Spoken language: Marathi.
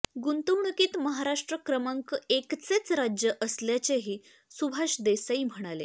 गुंतवणुकीत महाराष्ट्र क्रमांक एकचेच राज्य असल्याचेही सुभाष देसाई म्हणाले